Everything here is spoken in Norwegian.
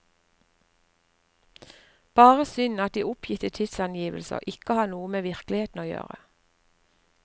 Bare synd at de oppgitte tidsangivelser ikke har noe med virkeligheten å gjøre.